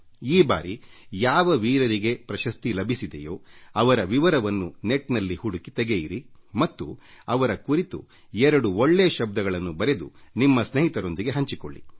ಈ ಬಾರಿ ಯಾವ ಯಾವ ವೀರರಿಗೆ ಶೌರ್ಯ ಪ್ರಶಸ್ತಿಗಳು ಲಭಿಸಿದೆಯೋ ಅವರ ವಿವರವನ್ನು ಅಂತರ್ಜಾಲದಲ್ಲಿ ಹುಡುಕಿ ತೆಗೆಯಿರಿ ಮತ್ತು ಅವರ ಕುರಿತು ಎರಡು ಒಳ್ಳೇ ಮಾತುಗಳನ್ನು ಬರೆದು ನಿಮ್ಮ ಸ್ನೇಹಿತರು ಸಂಗಾತಿಗಳೊಂದಿಗೆ ಹಂಚಿಕೊಳ್ಳಿ